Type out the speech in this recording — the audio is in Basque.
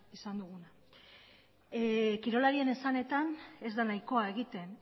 izan da kirolarien esanetan ez da nahikoa egiten